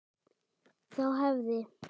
Þá hefði